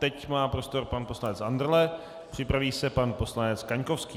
Teď má prostor pan poslanec Andrle, připraví se pan poslanec Kaňkovský.